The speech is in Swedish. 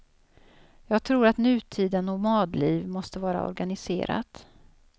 Jag tror att nutida nomadliv måste vara organiserat.